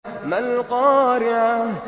مَا الْقَارِعَةُ